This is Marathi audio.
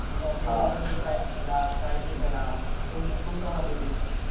मग कॉम्पिटिशन चे प्राईझ काढा काय हे करा. खूप धमाल इथेही.